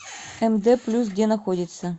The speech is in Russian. мд плюс где находится